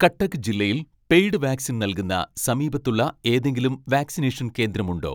കട്ടക്ക് ജില്ലയിൽ paid vaccine നൽകുന്ന സമീപത്തുള്ള ഏതെങ്കിലും വാക്‌സിനേഷൻ കേന്ദ്രമുണ്ടോ